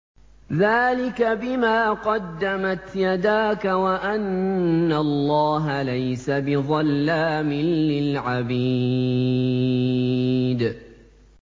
ذَٰلِكَ بِمَا قَدَّمَتْ يَدَاكَ وَأَنَّ اللَّهَ لَيْسَ بِظَلَّامٍ لِّلْعَبِيدِ